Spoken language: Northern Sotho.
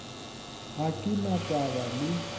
ga ke na taba le